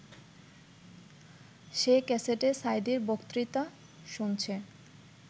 সে ক্যাসেটে সাঈদীর বক্তৃতা শুনছে